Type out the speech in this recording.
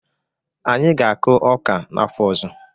Anyị ga-akụ ọka n'afọ ọzọ.